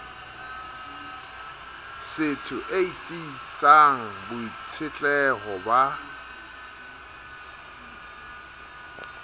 setho e tiisang boitshetleho ba